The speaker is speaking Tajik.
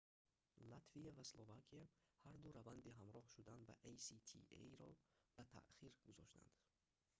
латвия ва словакия ҳарду раванди ҳамроҳ шудан ба аста-ро ба таъхир гузоштанд